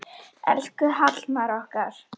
Elsku Hallmar okkar.